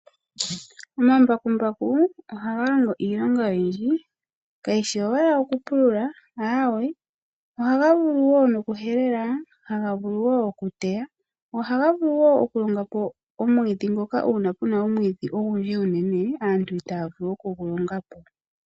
Omambakuku, ohaga longo iilonga oyidji. Ka yishi owala oku pulula, aawe ohaga vulu wo no ku helela, haga vulo wo oku teya, go ohaga vulu wo okulonga po omwiidhi ngoka uuna puna omwiidhi omunene aantu itaa ya vulu no ku longa po.